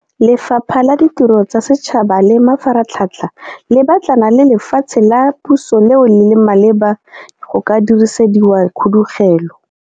Lefapha la Ditiro tsa Setšhaba le Mafaratlhatlha le batlana le lefatshe la puso leo le leng maleba go ka dirisediwa khudugelo.